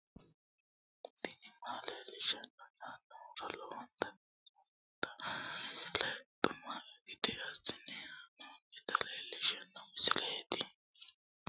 tini maa leelishshanno yaannohura lowonta biiffanota misile xuma gede assine haa'noonnita leellishshanno misileeti kaameru danchunni haa'noonni lamboe biiffe leeeltannoqolten lowonta baxissannoe halchishshanno yaate